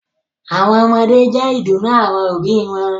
àwọn ọmọdé jẹ́ ìdùnnú àwọn òbí wọn